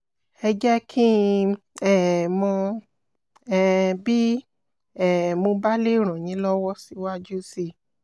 ẹ jẹ́ kí n um mọ̀ um bí um mo bá lè ràn yín lọ́wọ́ síwájú sí i